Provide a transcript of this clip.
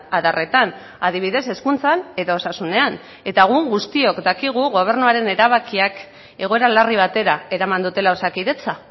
adarretan adibidez hezkuntzan edo osasunean eta egun guztiok dakigu gobernuaren erabakiak egoera larri batera eraman dutela osakidetza